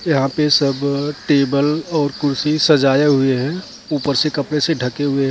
यहाँ पे सब टेबल और कुर्सी सजाए हुए हैं ऊपर से कपड़े से ढके हुए हैं ।